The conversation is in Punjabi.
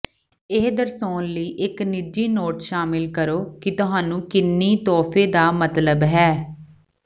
ਇਹ ਦਰਸਾਉਣ ਲਈ ਇਕ ਨਿੱਜੀ ਨੋਟ ਸ਼ਾਮਲ ਕਰੋ ਕਿ ਤੁਹਾਨੂੰ ਕਿੰਨੀ ਤੋਹਫ਼ੇ ਦਾ ਮਤਲਬ ਹੈ